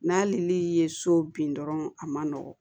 N'ali ye so bin dɔrɔn a man nɔgɔn